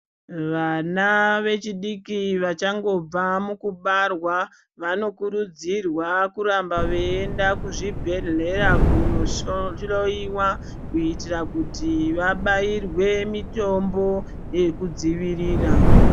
Vana vechidiki vachangobva mukubarwa vanokurudzirwa kuramba veienda kuzvibhedhlera kunohloyiwa kuititra kuti vabairwe mitombo yekudzivirira.